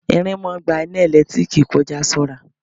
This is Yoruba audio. Irin ń máa ń gba iná ẹ̀lẹ́tíríkì kọ já, ṣọ́ra.